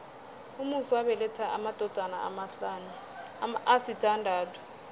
umusi wabeletha amadodana asithandathu